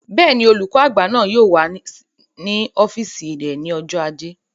Bẹ́ẹ̀ni, olùkọ́ àgbà náà yóò wà ní ọ́fìsì rẹ̀ ní ọjọ́ ajé